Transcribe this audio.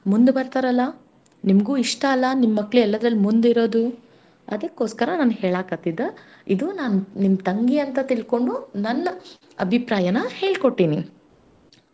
ಮುಂದ್ ಬರ್ತಾರಲಾ ನಿಮ್ಗೂ ಇಷ್ಟ ಅಲಾ ನಿಮ್ ಮಕ್ಳು ಎಲ್ಲದ್ರಲ್ ಮುಂದಿರೋದು ಅದಕ್ಕೋಸ್ಕರ ನಾನ್ ಹೇಳಾಕತ್ತಿದ್ದ ಇದು ನಾನ್ ನಿಮ್ ತಂಗಿ ಅಂತ ತಿಳ್ಕೊಂಡು ಅಭಿಪ್ರಾಯನ ಹೇಳ್ಕೋಟ್ಟಿನಿ.